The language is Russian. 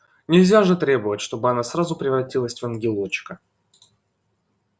нельзя же требовать чтобы она сразу превратилась в ангелочка